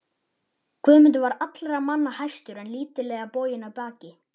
Guðmundur var allra manna hæstur en lítillega boginn í baki.